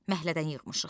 Məhlədən yığmışıq.